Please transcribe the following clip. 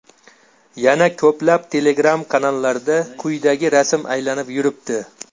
Yana ko‘plab Telegram-kanallarda quyidagi rasm aylanib yuribdi.